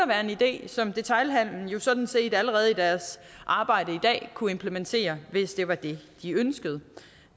være en idé som detailhandelen sådan set allerede i deres arbejde i dag kunne implementere hvis det var det de ønskede